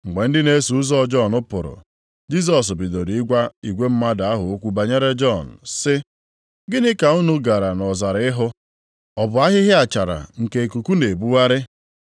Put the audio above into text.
Mgbe ndị na-eso ụzọ Jọn pụrụ, Jisọs bidoro ịgwa igwe mmadụ ahụ okwu banyere Jọn sị, “Gịnị ka unu gara nʼọzara ịhụ? Ọ bụ ahịhịa achara nke ikuku na-ebugharị?